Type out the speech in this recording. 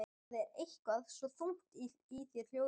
Það er eitthvað svo þungt í þér hljóðið.